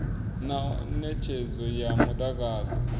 na netshedzo ya mudagasi na